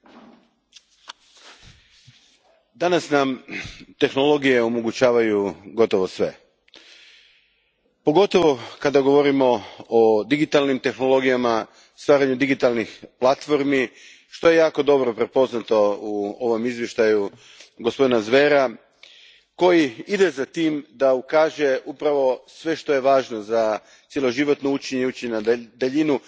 Gospođo predsjednice, danas nam tehnologije omogućavaju gotovo sve, pogotovo kada govorimo o digitalnim tehnologijama, stvaranjem digitalnih platformi, što je jako dobro prepoznato u ovom izvješću gospodina Zvera, koji ide za tim da ukaže na sve što je važno za cjeloživotno učenje i učenje na daljinu.